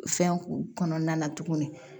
Fɛnw kɔnɔna na tuguni